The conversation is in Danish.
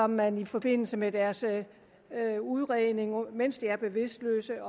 man i forbindelse med deres udredning mens de er bevidstløse